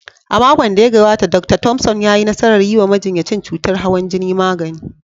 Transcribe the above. A makon da ya gabata, Dr. Thompson ya yi nasarar yi wa majinyacin cutar hawan jini magani.